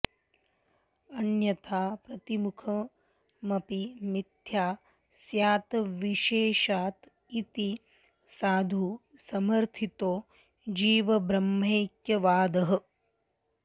अन्यथा प्रतिमुखमपि मिथ्या स्यादविशेषात् इति साधु समर्थितो जीवब्रह्मैक्यवादः